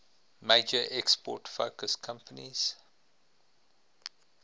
major export focused companies